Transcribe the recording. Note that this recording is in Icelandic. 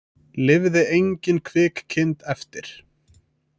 Lifði engin kvik kind eftir